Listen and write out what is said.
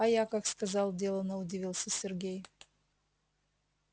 а я как сказал делано удивился сергей